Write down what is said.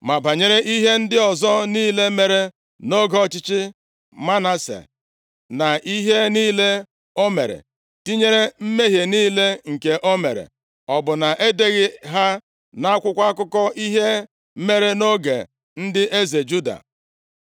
Ma banyere ihe ndị ọzọ niile mere nʼoge ọchịchị Manase na ihe niile o mere, tinyere mmehie niile nke o mere, ọ bụ na e deghị ha nʼakwụkwọ akụkọ ihe mere nʼoge ndị eze Juda?